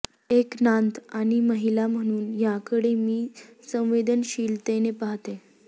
एक नातं आणि महिला म्हणून याकडे मी संवेदनशीलतेने पाहते